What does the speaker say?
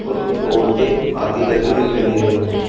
कुछ औरतें आती जाती दिखाई दे रही है।